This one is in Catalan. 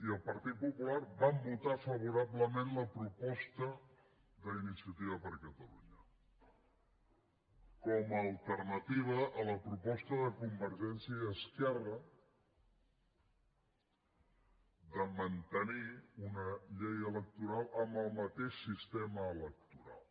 i el partit popular vam votar favorablement la proposta d’iniciativa per catalunya com a alternativa a la proposta de convergència i esquerra de mantenir una llei electoral amb el mateix sistema electoral